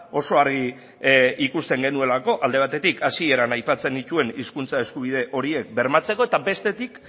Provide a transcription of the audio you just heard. oso argi ikusten genuelako alde batetik hasieran aipatzen nituen hizkuntza eskubide horiek bermatzeko eta bestetik